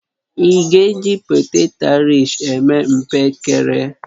Ị́ ga-eji poteto airish eme mpekere?